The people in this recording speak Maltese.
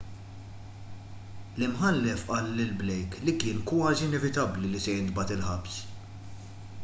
l-imħallef qal lil blake li kien kważi inevitabbli li se jintbagħat il-ħabs